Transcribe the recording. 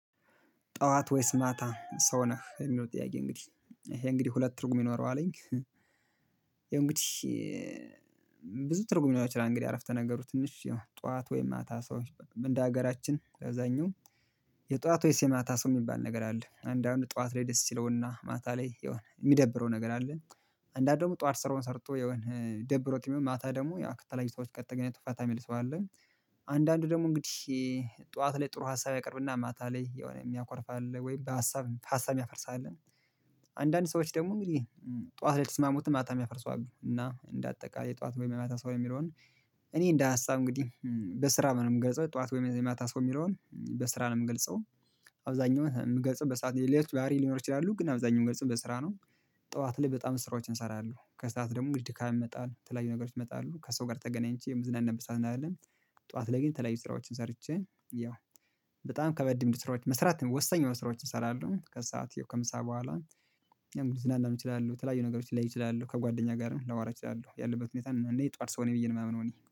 ጠዋት ወይስ ማታ ሰው ነህ የሚለው ጥያቄ እንግዲህ ይሄ እንግዲህ ሁለት ትርጉም ይኖረው ይኖረዋል አለኝ። ይሄ እንግዲህ ብዙ ትርጉም ይሆናል። እንግዲህ አረፍተ ነገሩ ትንሽ ጠዋት ወይም አታ ሰው እንደ ሀገራችን ለዛኛው የጧት ወይስ የማታ ሰው የሚባል ነገር አለ አንዳንድ ጠዋት ላይ ደስ ይለውና ማታ ላይ የሆነ የሚደብረው ነገር አለ። አንዳንድ ደግሞ ጠዋት ስራውን ሰርቶ የሆነ ደብሮትም ቢውል ማታ ደግሞ ከተለያዩ ሰዎች ጋር ተገናኝቶ ፈታ የሚል ሰው አለ። አንዳንዱ ደግሞ እንግዲህ ጠዋት ላይ ጥሩ ሀሳብ ያቀርብና ማታ ላይ የሆነ የሚያኮርፍ አለ ወይም በሀሳብ ሀሳብ ያፈርሳልን? አንዳንድ ሰዎች ደግሞ እንግዲህ ጠዋት ላይ ስማሙትን ማታ የሚያፈርሱ አሉ። እና እንደ አጠቃላይ ጠዋት ወይም የመጣ ሰው የሚለውን እኔ እንደ ሀሳብ እንግዲህ በስራ ምንገልጸው ጠዋት ወይም ዘመታ ሰው የሚለውን በስራ ነው የምገልጸው። አብዛኛው ምገልጸው በሰአት ሌሎች ባህሪ ሊኖሩ ይችላሉ ግን አብዛኛው ገጽም በስራ ነው። ጠዋት ላይ በጣም ስራዎችን እሰራለሁ ከሰአት ደግሞ ድካም ይመጣል ተለያዩ ነገሮች ይመጣሉ ከሰው ጋር ተገናኝቼ የምዝናን ነበር ሳንን አይደለም። ጠዋት ላይ ግን ተለያዩ ስራዎችን ሰርቼ ያው በጣም ከበድም ስራዎች መስራት ወሳኝ የሆኑ ስራዎችን እሰራለሁ ከሰአት ከምሳ በኋላ። ልዝናና እችላለሁ በተለያዩ ነገሮች ላይ ይችላሁ ከጓደኛ ጋርም ላዋራ ይችላሁ ያለበት ሁኔታ እኔ ጠዋት ሰው ነኝ ብዬ ነው የማምነው። እኔ